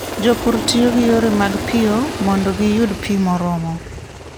Jopur tiyo gi yore mag piyo mondo giyud pi moromo.